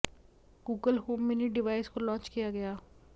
Google Home Mini device को launch किया गया